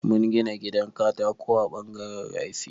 Mun gina gidan katako a ɓangaren rafi.